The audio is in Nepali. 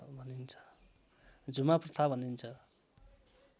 झुमा प्रथा भनिन्छ